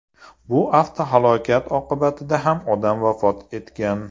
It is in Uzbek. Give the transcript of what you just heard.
Bu avtohalokat oqibatida ham odam vafot etgan.